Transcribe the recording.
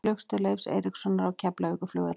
Flugstöð Leifs Eiríkssonar á Keflavíkurflugvelli.